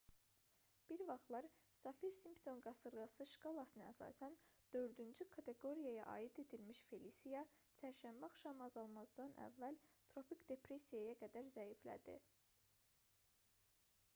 bir vaxtlar saffir-simpson qasırğası şkalasına əsasən 4-cü kateqoriyaya aid edilmiş felisiya çərşənbə axşamı azalmazdan əvvəl tropik depressiyaya qədər zəiflədi